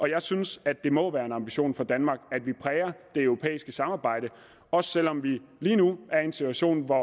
jeg synes at det må være en ambition for danmark at vi præger det europæiske samarbejde også selv om vi lige nu er i en situation hvor